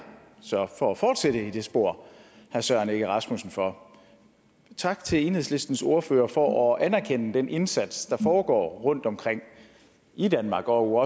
for at fortsætte i det spor herre søren egge rasmussen for tak til enhedslistens ordfører for at anerkende den indsats der foregår rundtomkring i danmark og